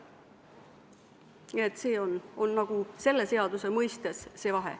Nii et see on selle seaduse mõistes see vahe.